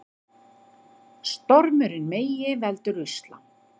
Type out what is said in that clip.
Stormurinn Megi veldur usla